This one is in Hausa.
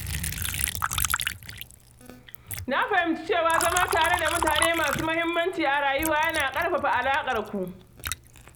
Na fahimci cewa zama tare da mutane masu muhimmanci a rayuwata yana ƙara ƙarfafa alaƙarmu.